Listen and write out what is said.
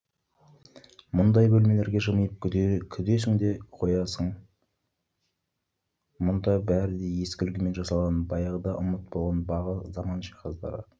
мұндай бөлмелерге жымиып күдесің де қоясың мұнда бәрі де ескі үлгімен жасалған баяғыда ұмыт болған бағы заман жиһаздары